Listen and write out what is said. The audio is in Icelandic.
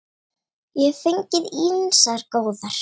Ég hef fengið ýmsar góðar.